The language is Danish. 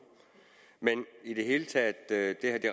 men i det hele taget